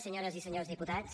senyores i senyors diputats